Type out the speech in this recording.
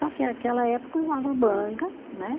Só que aquela época usava manga, né?